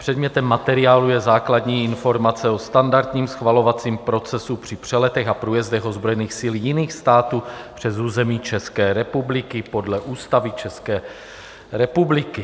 Předmětem materiálu je základní informace o standardním schvalovacím procesu při přeletech a průjezdech ozbrojených sil jiných států přes území České republiky podle Ústavy České republiky.